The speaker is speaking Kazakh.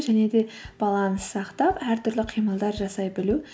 және де баланс сақтап әртүрлі қимылдар жасай білу